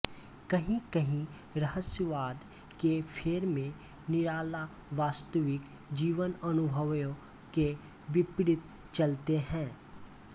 कहींकहीं रहस्यवाद के फेर में निराला वास्तविक जीवनअनुभवों के विपरीत चलते हैं